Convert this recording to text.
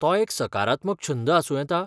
तो एक सकारात्मक छंद आसूं येता?